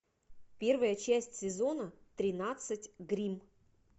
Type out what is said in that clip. первая часть сезона тринадцать гримм